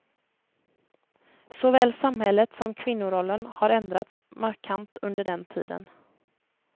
Såväl samhället som kvinnorollen har ändrats markant under den tiden.